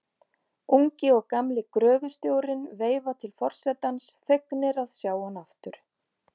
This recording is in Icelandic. Ungi og gamli gröfustjórinn veifa til forsetans, fegnir að sjá hann aftur.